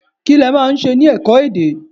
Kí lẹ máa ń ṣe ní ẹ̀kọ́-èdè?